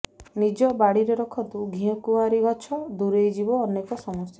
ନିଜ ବାଡ଼ିରେ ରଖନ୍ତୁ ଘିକୁଆଁରି ଗଛ ଦୂରେଇ ଯିବ ଅନେକ ସମସ୍ୟା